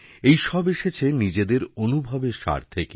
এইসব এসেছেনিজেদের অনুভবের সার থেকে